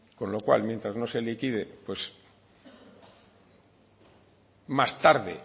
con lo cual mientras no se liquide pues más tarde